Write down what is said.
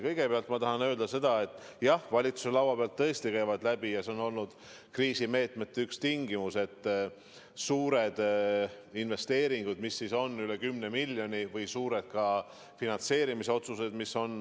Kõigepealt ma tahan öelda seda, et jah, valitsuse laua pealt tõesti käivad läbi – see on olnud üks kriisimeetmete tingimus – suured investeeringud, mis on üle 10 miljoni, ja ka suured finantseerimisotsused.